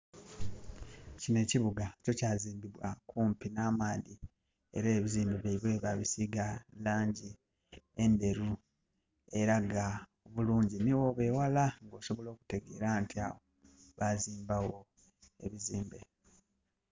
Kinho ekibugah kyo kyazimbibwa okumpi nh'amaadhi era ebizimbe byaibwe babisigah langi endheru eragah obulungi nhi bwoba eghala osobola okutegera nti agho, bazimbagho ebizimbe.